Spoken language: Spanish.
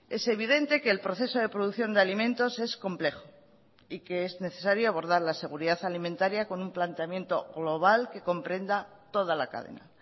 es evidente que el proceso de producción de alimentos es complejo y que es necesario abordar la seguridad alimentaría con un planteamiento global que comprenda toda la cadena